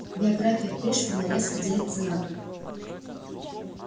биография пришвина резко делится надвое